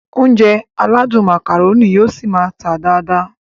Ounjẹ aládùn Macaroni yóò ṣi máá tà dáadáa